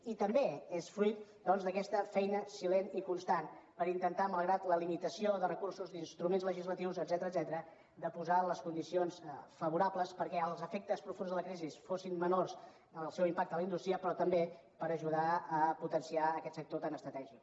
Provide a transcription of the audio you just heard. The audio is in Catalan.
i també és fruit doncs d’aquesta feina silent i constant per intentar malgrat la limitació de recursos d’instruments legislatius etcètera de posar les condicions favorables perquè els efectes profunds de la crisi fossin menors el seu impacte en la indústria però també per ajudar a potenciar aquest sector tan estratègic